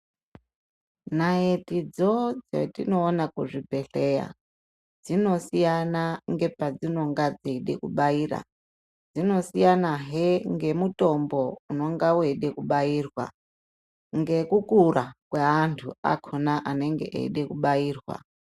Naitidzo dzetinoona kuzvibhedhleya ,dzinosiyana ngepadzinonga dzeide kubaira. Dzinosiyanahe ngemitombo unonga weide kubairwa, ngekukura kweantu akhona anenge eide kubairwa.